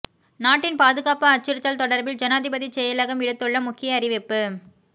நாட்டின் பாதுகாப்பு அச்சுறுத்தல் தொடர்பில் ஜனாதிபதி செயலகம் விடுத்துள்ள முக்கிய அறிவிப்பு